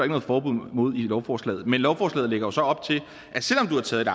noget forbud mod i lovforslaget men lovforslaget lægger jo så op til at selv om du har taget